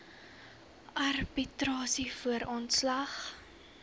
arbitrasie voor ontslag